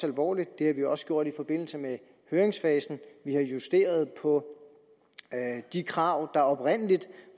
alvorligt det har vi også gjort i forbindelse med høringsfasen vi har justeret på de krav der oprindelig